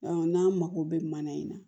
n'an mako bɛ mana in na